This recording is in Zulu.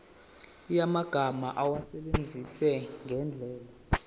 yamagama awasebenzise ngendlela